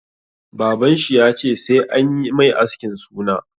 Baban shi ya ce 'Sai anyi mai askin suna'!